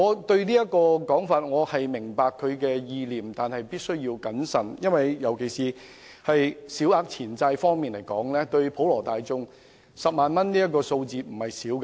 雖然我明白這說法的意念，但認為必須謹慎處理，尤其是就小額錢債案件而言 ，10 萬元對普羅大眾來說並非小數目。